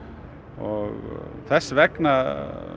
og þess vegna